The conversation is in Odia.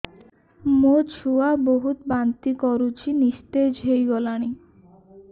ମୋ ଛୁଆ ବହୁତ୍ ବାନ୍ତି କରୁଛି ନିସ୍ତେଜ ହେଇ ଗଲାନି